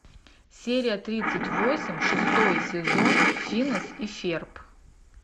серия тридцать восемь шестой сезон финес и ферб